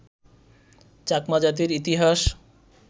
চাকমা জাতির ইতিহাস